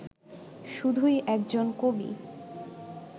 শুধুই একজন কবি